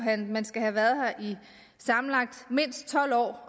at man skal have været her i sammenlagt mindst tolv år